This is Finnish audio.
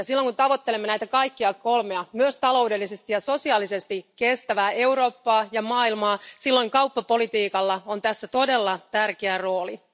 Ja silloin kun tavoittelemme näitä kaikkia kolmea, myös taloudellisesti ja sosiaalisesti kestävää Eurooppaa ja maailmaa, kauppapolitiikka on todella tärkeässä roolissa.